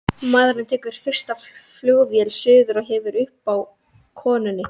Maðurinn tekur fyrstu flugvél suður og hefur upp á konunni.